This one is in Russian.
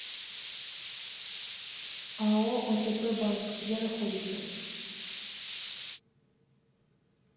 ао отп банк где находится